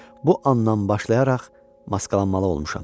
Bu anadan başlayaraq maskalanmalı olmuşam.